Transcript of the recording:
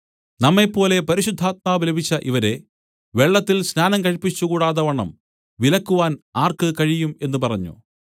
നമ്മെപ്പോലെ പരിശുദ്ധാത്മാവ് ലഭിച്ച ഇവരെ വെള്ളത്തിൽ സ്നാനം കഴിപ്പിച്ചുകൂടാതവണ്ണം വിലക്കുവാൻ ആർക്ക് കഴിയും എന്നു പറഞ്ഞു